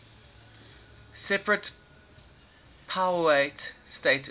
separate powiat status